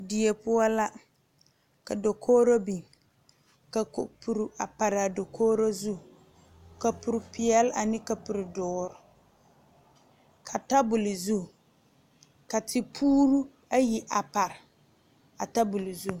Die poɔ la ka dakogre biŋ ka kapure pare a dakogre zu kapure peɛle ane kapure doɔre ka tabol zu ka tepure ayi pare a tabol zu.